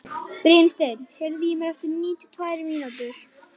Brynsteinn, heyrðu í mér eftir níutíu og tvær mínútur.